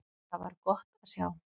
Það var gott að sjá.